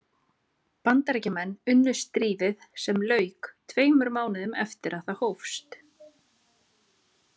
Bandaríkjamenn unnu stríðið sem lauk tveimur mánuðum eftir að það hófst.